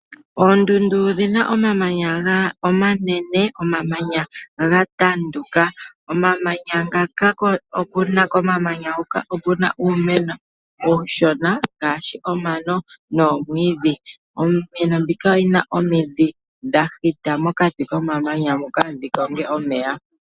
Oondundu odhi na omamanya omanene, omamanya ta tanduka. Komamanya huka oku na uumeno uushona ngaashi omano nomwiidhi. Iimeno mbika oyi na omidhi dha hita mokati komamanya moka dhi konge omeya.